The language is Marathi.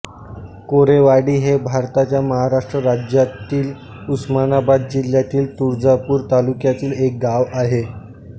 कोरेवाडी हे भारताच्या महाराष्ट्र राज्यातील उस्मानाबाद जिल्ह्यातील तुळजापूर तालुक्यातील एक गाव आहे